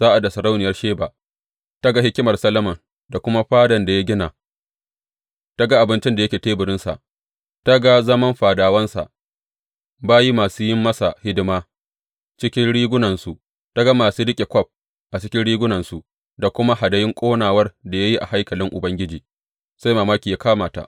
Sa’ad da sarauniyar Sheba ta ga hikimar Solomon da kuma fadan da ya gina, ta ga abincin da yake teburinsa, ta ga zaman fadawansa, bayi masu yin masa hidima cikin rigunansu, ta ga masu riƙe kwaf cikin rigunansu da kuma hadayun ƙonawar da ya yi a haikalin Ubangiji, sai mamaki ya kama ta.